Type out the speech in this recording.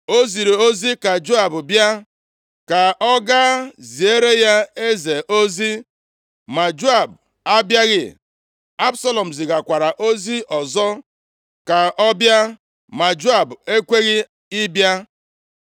o ziri ozi ka Joab bịa, ka ọ gaa ziere ya eze ozi, ma Joab abịaghị. Absalọm zigakwara ozi ọzọ ka ọ bịa ma Joab ekweghị ịbịa.